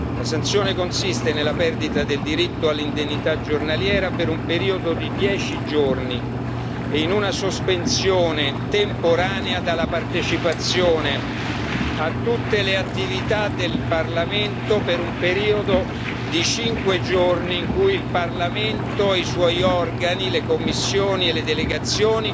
La sanzione consiste nella perdita del diritto all'indennità giornaliera per un periodo di dieci giorni e in una sospensione temporanea dalla partecipazione a tutte le attività del Parlamento per un periodo di cinque giorni in cui il Parlamento e i suoi organi, le commissioni e le delegazioni